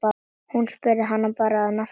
Hún spurði hann að nafni.